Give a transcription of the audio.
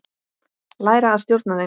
Læra að stjórna þeim.